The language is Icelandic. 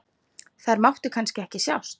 Þær máttu kannski ekki sjást?